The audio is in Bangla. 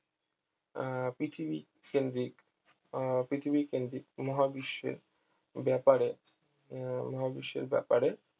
আহ পৃথিবী কেন্দ্রিক আহ পৃথিবী কেন্দ্রিক মহাবিশ্বের ব্যাপারে আহ মহাবিশ্বের ব্যাপারে